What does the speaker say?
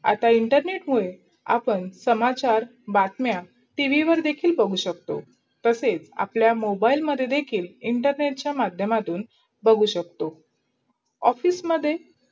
आता इंटरनेट मुडे आपण समाचार, बातमया आपण T. V वर देखील बगू शकतो. तसे आपल्या मोबाईल मध्ये देखील internet चा मधयांमधून बगू शकतो. office मध्ये